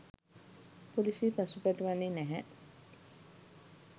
පොලිසිය පසුබට වන්නේ නැහැ